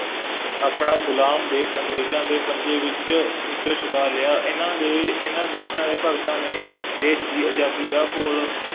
ਆਪਣਾ ਗੁਲਾਮ ਦੇਸ਼ ਅੰਗਰੇਜ਼ਾਂ ਦੇ ਪੰਜੇ ਵਿੱਚ ਵਿੱਚੋਂ ਛੁਡਾ ਲਿਆ, ਇਹਨਾ ਦੇ, ਇਹਨਾ ਦੇਸ਼ਾਂ ਦੇ ਭਗਤਾਂ ਨੇ ਦੇਸ਼ ਦੀ ਆਜ਼ਾਦੀ ਦਾ ਘੋਲ